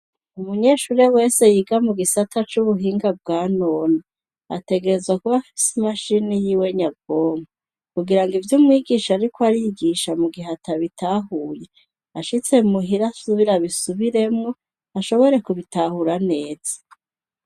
Umunyeshure wese yiga mugisata c'ubuhinga bwanone ategrezwa kuba afise imashini yiwe nyabwonko, kugirango ivyo umwigisha ariko arigisha, mugihe atabitahuye ashitse muhira abisubiremwo ashobore kubitahura neza.